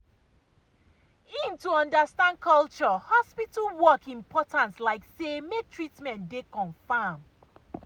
em to understand culture hospital work important like say make treatment dey confam.